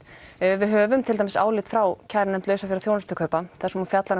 við höfum til dæmis álit frá kærunefnd lausafjár og þjónustukaupa þar sem hún fjallar um